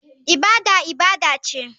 Ibada ibada ce.